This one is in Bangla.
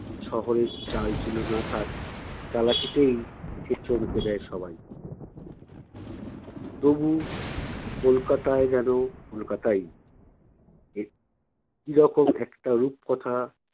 শহরের চালচুলো না থাক চালাকিতেই সে চমকে দেয় সবাই। তবু কলকাতায় যেনো কলকাতাই। এক কী রকম একটা রূপকথা